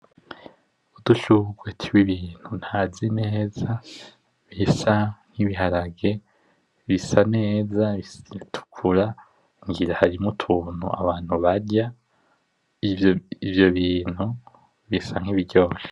Udushurwe tw’ibintu ntazi neza bisa nk’ibiharage bisa neza bisa nkibitukura ,ngira harimwo utuntu abantu barya ivyo bintu bisa nk'ibiryoshe.